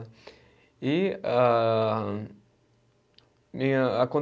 E âh, minha